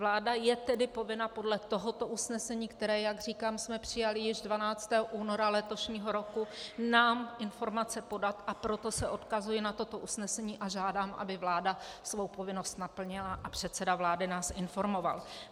Vláda je tedy povinna podle tohoto usnesení, které, jak říkám, jsme přijali již 12. února letošního roku, nám informace podat, a proto se odkazuji na toto usnesení a žádám, aby vláda svou povinnost naplnila a předseda vlády nás informoval.